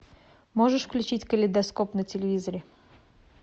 можешь включить калейдоскоп на телевизоре